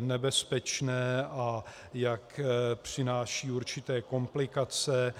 nebezpečné a jak přináší určité komplikace.